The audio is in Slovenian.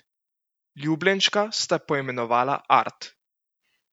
Ljubljenčka sta poimenovala Art.